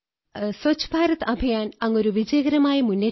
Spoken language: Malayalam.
ദിവസത്തിൽ ഒരിക്കലെന്നല്ല പല പ്രാവശ്യം അങ്ങനെയുണ്ടാകുമായിരുന്നു